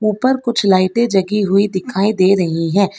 ऊपर कुछ लाइटें जगी हुई दिखाई दे रही हैं।